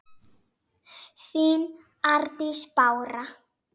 þín Arndís Bára.